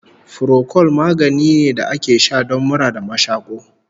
Furokol magani ne da ake sha don mura da mashaƙo